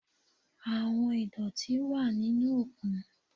Àwọn ìdọ̀tí wà nínú òkun.